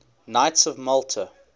knights of malta